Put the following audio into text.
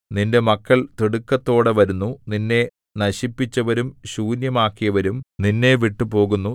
നിന്റെ മക്കൾ തിടുക്കത്തോടെ വരുന്നു നിന്നെ നശിപ്പിച്ചവരും ശൂന്യമാക്കിയവരും നിന്നെ വിട്ടുപോകുന്നു